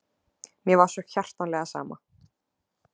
Mér var svo hjartanlega sama.